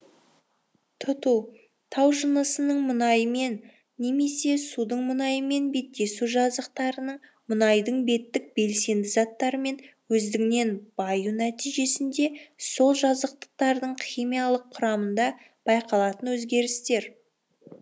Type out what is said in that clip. тұту тау жынысының мұнаймен немесе судың мұнаймен беттесу жазықтықтарының мұнайдың беттік белсенді заттарымен өздігінен баю нәтижесінде сол жазықтықтардың химиялық құрамында байқалатын өзгерістер